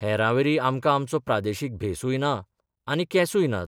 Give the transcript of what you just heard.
हेरांवरी आमकां आमचो प्रादेशीक भेसूय ना आनी केंसूय नात.